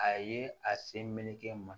A ye a sen meleke n ma